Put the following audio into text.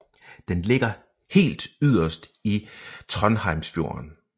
Den ligger helt yderst i Trondheimsfjorden